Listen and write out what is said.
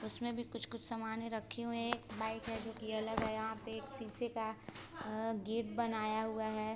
उसमे भी कुछ-कुछ समाने रखे हुए है एक बाइक है जो कि अलग है यहाँ पे एक शीशे का आ गेट बनाया हुआ है ।